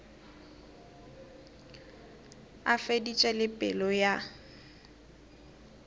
a feditše le pelo ya